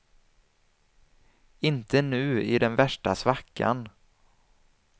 Inte nu i den värsta svackan.